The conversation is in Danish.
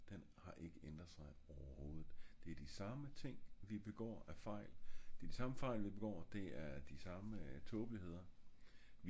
den har ikke ændret sig overhovedt det er de samme ting vi begår af fejl det er de samme fejl vi begår det er samme tåbeligheder